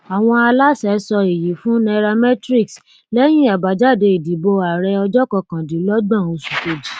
àwọn aláṣẹ sọ èyí fún cs] nairametrics lẹyìn abájáde ìdìbò ààrẹ ọjọ kọkàndínlọgbọn oṣù kejì